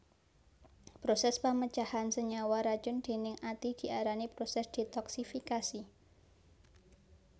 Prosès pamecahan senyawa racun déning ati diarani prosès detoksifikasi